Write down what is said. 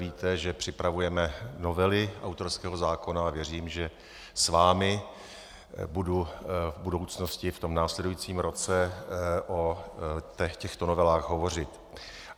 Víte, že připravujeme novely autorského zákona, a věřím, že s vámi budu v budoucnosti v tom následujícím roce o těchto novelách hovořit.